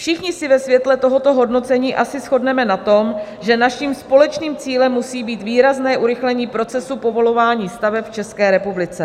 Všichni se ve světle tohoto hodnocení asi shodneme na tom, že naším společným cílem musí být výrazné urychlení procesu povolování staveb v České republice.